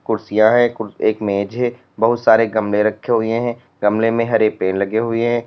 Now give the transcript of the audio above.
कुर्सियां है एक मेज है बहुत सारे गमले रखे हुए हैं गमले में हरे पेड़ लगे हुए हैं।